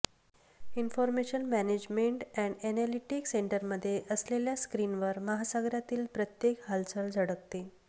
information management and analytic सेंटरमध्ये असलेल्या स्क्रीनवर महासागरातील प्रत्येक हालचाल झळकते